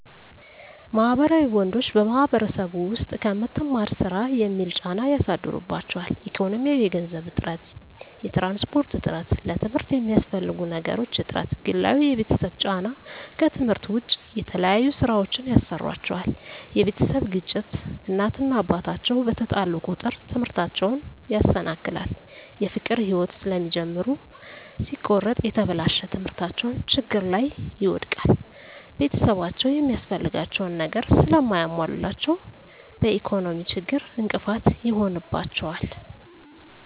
ማህበራዊ ወንዶች በማህበረሰቡ ዉስጥ ከምትማር ስራ የሚል ጫና ያሳድሩባቸዋል። ኢኮኖሚያዊ የገንዘብ እጥረት፣ የትራንስፖርት እጥረት፣ ለትምርት የሚያስፈልጉ ነገሮች እጥረት፣ ግላዊ የቤተሰብ ጫና ከትምህርት ዉጭ የተለያዩ ስራወችን ያሰሩአቸዋል የቤተሰብ ግጭት እናት እና አባት አቸዉ በተጣሉ ቁጥር ትምህርታቸዉን ያሰናክላል። የፍቅር ህይወት ስለሚጀምሩ ሲቆረጥ የተበላሸ ትምህርታቸዉን ችግር ላይ ይወድቃል። ቤተሰብአቸዉ የሚያስፈልጋቸዉን ነገር ስለማያሞሉላቸዉ በኢኮኖሚ ችግር እንቅፋት ይሆንባቸዋል።